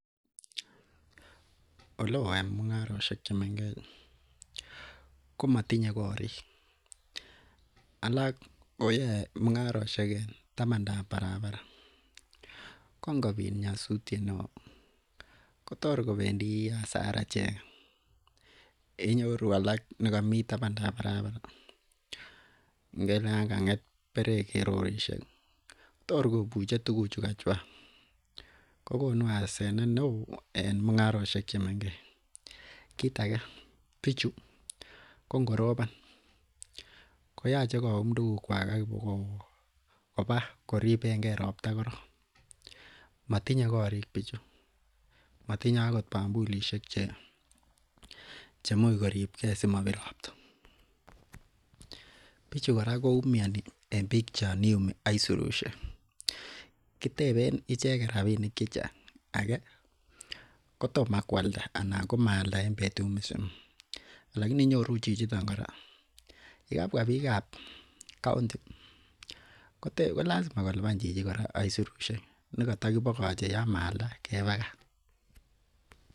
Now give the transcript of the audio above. Ingo time kibsomaninik kineyoe en eunek kwak kokonu kaguyet neoo missing en ichek, kosir nikobokosoman ng'amnotet kitio en kitabusiek nitet kotesien ichek kokuyet neoo missing. Kora tinye komonuut missing en kibsomaniat agetugul netieme en eunek chik kosir nikobokosomanchike en kitabusiek, notoon inisoman en kitabusiek imuch kobit terchinet ak yeuu imandab tuguk choton, en koguyet kora koibe kasarta neoo missing inisomanchike en kitabusiek kosir Yoon kewe iweyaen euneguk, iyoen euneguk koyoin iguye missing. Kibsomaniat neyoen enekyik tuguk koimuch kochobchige tuguk chik kora yaitia kobokualda ak kotaret konyor chebkondok noton netoreti inee kotestai en somanosiek chik